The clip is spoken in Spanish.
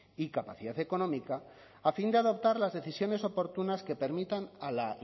y capacidad económica a fin de adoptar las decisiones oportunas que permitan a la